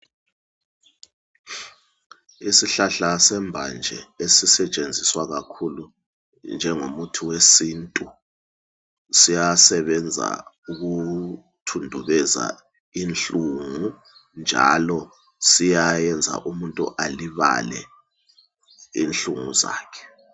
Isihlahla sembanje esisetshenziswa kakhulu njengo muthi wesintu ,siyasebenza ukuthundubeza inhlungu njalo siyayenza umuntu alibale inhlungu zakhe.